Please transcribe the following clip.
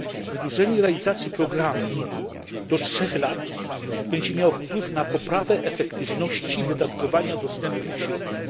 Wydłużenie realizacji programu do trzech lat będzie miało wpływ na poprawę efektywności wydatkowania dostępnych środków.